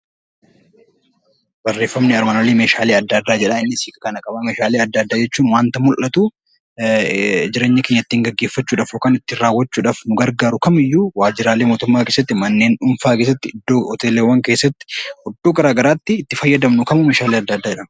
Meeshaalee adda addaa jechuun wanta mul'atu jireenya keenya ittiin gaggeeffachuudhaaf yookiin ittiin raawwachuudhaaf nu gargaaru kamiyyuu waajjiraalee mootummaa keessatti manneen dhuunfaa keessatti hoteelota keessatti iddoowwan garaagaraatti itti fayyadamnu kamuu meeshaalee adda addaa jedhama